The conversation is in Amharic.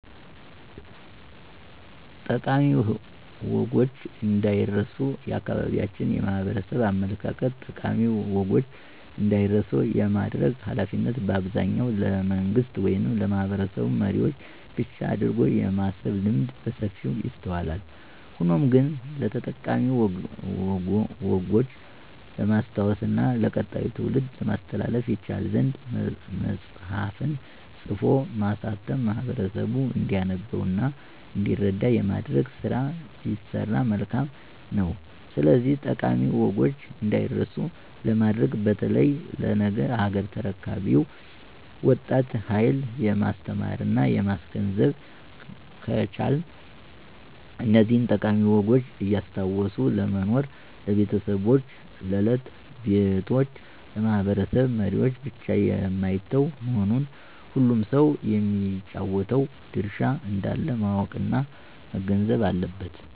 ጠቃሚ ወጎች እንዳይረስ የአካባቢያችን የማህበረሰቡ አመለካከት ጠቃሚ ወጎች እንዳይረሱ የማድረግ ሀላፊነት በአብዛኛው ለመንግስት ወይም ለማህበረሰብ መሪዎች ብቻ አድርጎ የማሰብ ልምድ በሰፊው ይስተዋላል። ሆኖም ግን ስለጠቃሚ ወጎች ለማስታወስ እና ለቀጣዩ ትውልድ ለማስተላለፍ ይቻል ዘንድ መፅሐፍን ፅፎ ማሳተም ማህበረሰቡ እንዲያነበው እና እንዲረዳ የማድረግ ስራ ቢሰራ መልካም ነው። ስለዚህ ጠቃሚ ወጎች እዳይረሱ ለማድረግ በተለይ ለነገ ሀገር ተረካቢው ወጣት ሀየል ማስተማረና ማስገንዘብ ከቻልን እነዚህን ጠቃሚ ወጎች እያስታወሱ ለመኖር ለቤተሰቦች፣ ለት/ቤቶች፣ ለማህበረሰብ መሪወች ብቻ የማይተው መሆኑን ሁሉም ሰው የሚጫወተው ድርሻ እንዳለው ማወቅና መገንዘብ አለበት።